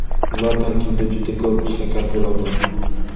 ular tarkibida juda ko‘p shakar bo‘ladi.